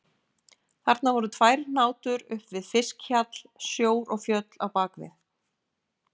Þarna voru tvær hnátur upp við fiskhjall, sjór og fjöll á bak við.